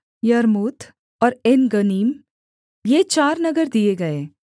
यर्मूत और एनगन्नीम ये चार नगर दिए गए